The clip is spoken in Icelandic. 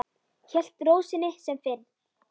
Hélt ró sinni sem fyrr.